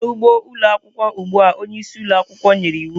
Gaa n'ugbo ụlọ akwụkwọ ugbu a! Onye isi ụlọ akwụkwọ nyere iwu.